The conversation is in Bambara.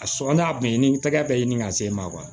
A sɔn n'a bɛɛ ye ni tɛgɛ bɛ ɲini ka se ma